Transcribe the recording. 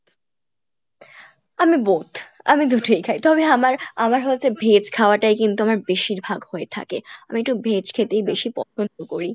আমি both আমি দুটোই খাই তবে আমার, আমার হচ্ছে veg খাওয়া টাই কিন্তু আমার বেশিরভাগ হয়ে থাকে আমি একটু veg খেতেই বেশি পছন্দ করি।